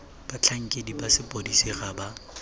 batlhankedi ba sepodisi ga ba